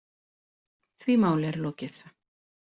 Því máli er lokið.